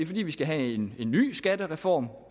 fordi vi skal have en ny skattereform